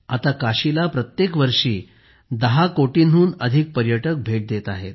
आता काशीला प्रत्येक वर्षी 10 कोटींहून अधिक पर्यटक पोहोचत आहेत